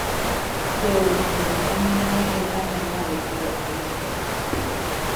Jood bura ma mine gin atamalo piero ariyo kende.